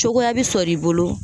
Cogoya bi sɔrɔ i bolo